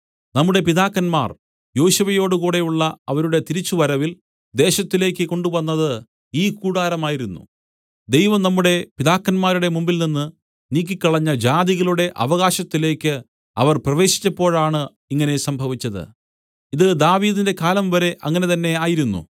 നമ്മുടെ പിതാക്കന്മാർ യോശുവയോടുകൂടെയുള്ള അവരുടെ തിരിച്ചുവരവിൽ ദേശത്തിലേക്ക് കൊണ്ടുവന്നത് ഈ കൂടാരമായിരുന്നു ദൈവം നമ്മുടെ പിതാക്കന്മാരുടെ മുമ്പിൽനിന്ന് നീക്കിക്കളഞ്ഞ ജാതികളുടെ അവകാശത്തിലേക്ക് അവർ പ്രവേശിച്ചപ്പോഴാണ് ഇങ്ങനെ സംഭവിച്ചത് ഇത് ദാവീദിന്റെ കാലം വരെ അങ്ങനെതന്നെയായിരുന്നു